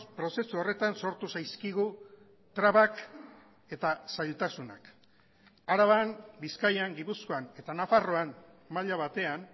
prozesu horretan sortu zaizkigu trabak eta zailtasunak araban bizkaian gipuzkoan eta nafarroan maila batean